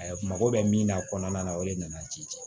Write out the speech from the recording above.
mako bɛ min na kɔnɔna na o de nana ji